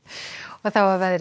þá að veðri